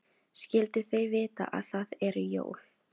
Skyldu þau vita að það eru jól?